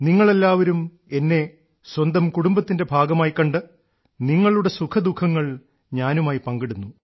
നിങ്ങളെല്ലാവരും എന്നെ സ്വന്തം കുടുംബത്തിന്റെ ഭാഗമായിക്കണ്ട് നിങ്ങളുടെ സുഖദുഃഖങ്ങൾ ഞാനുമായി പങ്കിടുന്നു